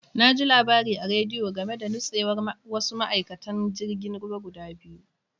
Na ji labari a rediyo game da nutsewar wasu ma'aikatan jirgin ruwa guda biyu.